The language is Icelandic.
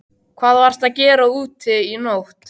Hvað varstu að gera úti í nótt?